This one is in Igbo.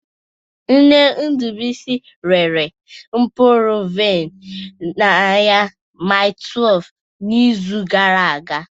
Nne Ndubuisi rere mkpụrụ vaịn n'ahịa Mile 12 n'izu gara aga